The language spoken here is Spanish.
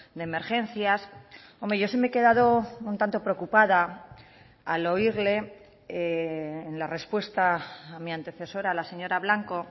de emergencias hombre yo sí me he quedado un tanto preocupada al oírle en la respuesta a mi antecesora la señora blanco